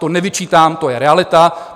To nevyčítám, to je realita.